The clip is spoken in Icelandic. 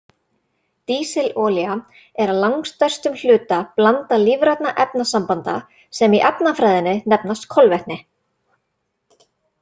Dísilolía er að langstærstum hluta blanda lífrænna efnasambanda sem í efnafræðinni nefnast kolvetni.